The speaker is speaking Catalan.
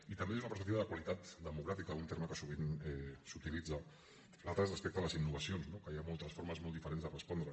i també des d’una perspectiva de qualitat democràtica un terme que sovint s’utilitza l’altre és respecte a les innovacions que hi ha moltes formes molt diferents de respondre